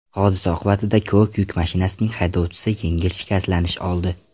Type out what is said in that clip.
Hodisa oqibatida ko‘k yuk mashinasining haydovchisi yengil shikastlanish oldi.